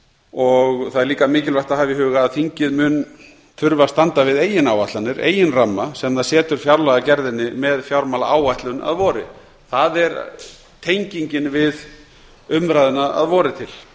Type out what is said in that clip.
og það er líka mikilvægt að hafa í huga að þingið mun einnig þurfa að standa við eigin áætlanir eigin ramma sem það setur fjárlagagerðinni með fjármálaáætlun að vori það er tengingin við umræðuna að vori til